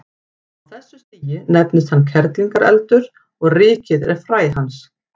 Á þessu stigi nefnist hann kerlingareldur og rykið er fræ hans.